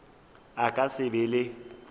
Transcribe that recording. a ka se be le